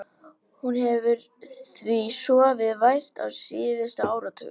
Hún hefur því sofið vært á síðustu áratugum.